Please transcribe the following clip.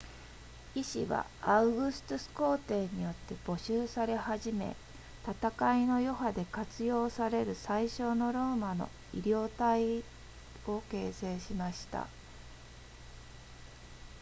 医師はアウグストゥス皇帝によって募集され始め戦いの余波で活用される最初のローマの医療隊を形成しました